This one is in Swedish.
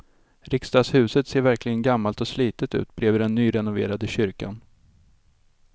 Riksdagshuset ser verkligen gammalt och slitet ut bredvid den nyrenoverade kyrkan.